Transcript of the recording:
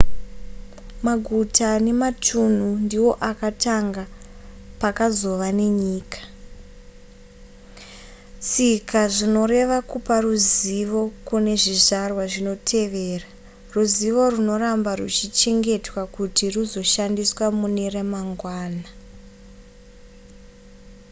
maguta nematunhu ndiwo akatanga pakazova nenyika tsika zvinoreva kupa ruzivo kune zvizvarwa zvinotevera ruzivo runoramba ruchichengetwa kuti ruzoshandiswa mune remangwana